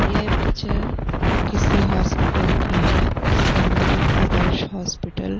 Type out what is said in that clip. यह पिक्चर किसी हॉस्पिटल की है जिसका नाम आदर्श हॉस्पिटल --